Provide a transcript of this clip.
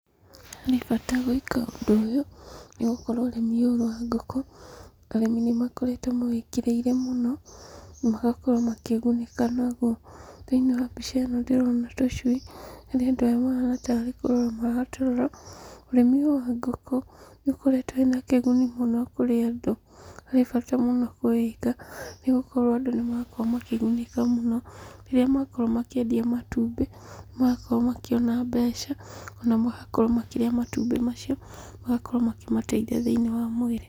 He bata gwĩka ũndũ ũyũ nĩ gũkorwo ũrĩmi ũyũ wa ngũkũ, arĩmi nĩmakoragwo mawĩkĩrĩire mũno magakorwo makĩgunĩka naguo. Thĩiniĩ wa mbica ĩno ndĩrona tũcui harĩa andũ aya mahana tarĩ kũrora maratũrora. Ũrĩmi ũyũ wa ngũkũ nĩ ũkoretwo wĩna kĩguni mũno kũrĩ andũ. Harĩ bata mũno kũwĩka, nĩgũkorwo andũ nĩmarakorwo makĩgunĩka mũno rĩrĩa makorwo makĩendia matumbĩ nĩ marakorwo makĩona mbeca, ona magakorwo makĩrĩa matumbĩ macio magakorwo makĩmateithia thĩiniĩ wa mwĩrĩ.